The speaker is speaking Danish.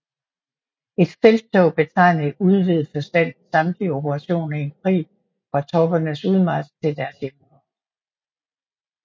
Et felttog betegner i udvidet forstand samtlige operationer i en krig fra troppernes udmarch til deres hjemkomst